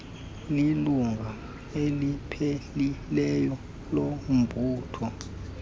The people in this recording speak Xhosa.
lilungu elipheleleyo lombutho